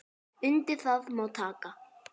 Undir það má taka.